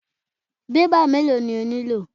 Bébà mélòó ni o nílò?